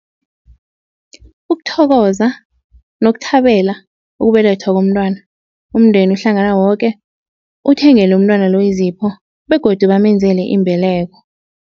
Ukuthokoza nokuthabela ukubelethwa komntwana umndeni uhlangana woke uthengele umntwana lo izipho begodu bamenzele imbeleko.